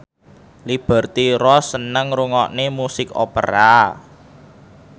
Liberty Ross seneng ngrungokne musik opera